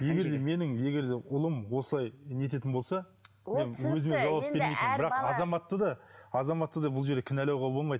егер де менің егер де ұлым осылай не ететін болса мен өзіме жауап бермейтін едім бірақ азаматты да азаматты да бұл жерде кінәлауға болмайды